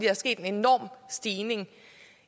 er sket en enorm stigning